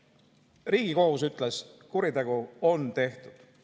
Ühesõnaga, Riigikohus ütles, et kuritegu on tehtud.